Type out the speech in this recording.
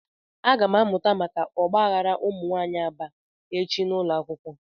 Agam amuta maka ogbaghara umunwaanyi Aba echi n'ulo akwukwo.